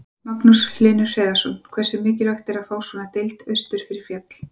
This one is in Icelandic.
Magnús Hlynur Hreiðarsson: Hversu mikilvægt er að fá svona deild austur fyrir fjall?